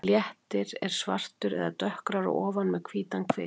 Léttir er svartur eða dökkgrár að ofan með hvítan kvið.